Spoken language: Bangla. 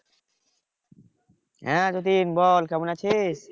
হ্যাঁ যতীন বল কেমন আছিস?